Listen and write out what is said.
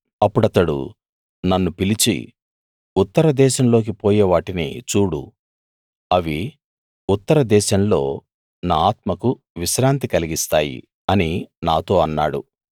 అప్పుడతడు నన్ను పిలిచి ఉత్తరదేశంలోకి పోయే వాటిని చూడు అవి ఉత్తరదేశంలో నా ఆత్మకు విశ్రాంతి కలిగిస్తాయి అని నాతో అన్నాడు